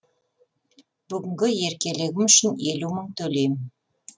бүгінгі еркелігім үшін елу мың төлейм